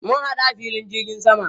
Mun hadu a filin jirgin sama.